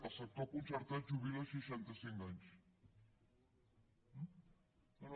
el sector concertat jubila a seixanta cinc anys eh no no